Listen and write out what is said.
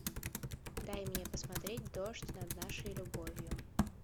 дай мне посмотреть дождь над нашей любовью